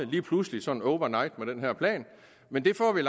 lige pludselig sådan over night med den her plan men det får vi